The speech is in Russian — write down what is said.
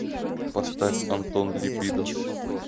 поставь антон либидо